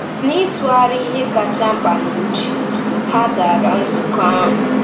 N’ịtụgharị ihe kacha mkpa n’uche, ha gara nzukọ ahụ.